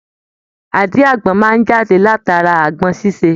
Àdí agbọn máa jáde látara agbọn ṣiṣe.